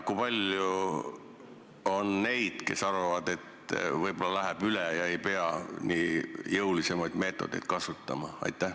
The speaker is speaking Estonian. Kui palju on neid, kes arvavad, et võib-olla läheb see probleem üle ja ei pea nii jõuliseid meetodeid kasutama?